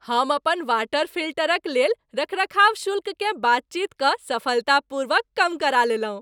हम अपन वाटर फिल्टरक लेल रखरखाव शुल्ककेँ बातचीत कऽ सफलतापूर्वक कम करा लेलहुँ।